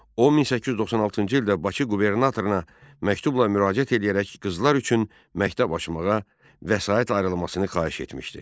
O 1896-cı ildə Bakı qubernatoruna məktubla müraciət edərək qızlar üçün məktəb açmağa vəsait ayrılmasını xahiş etmişdi.